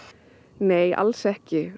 nei alls ekki